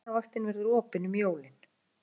Læknavaktin verður opin um jólin